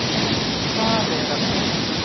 Hvaleyrarbraut